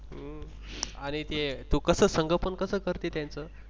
हम्म अरे ते तू कस संगोपन कसं करते त्यांचं?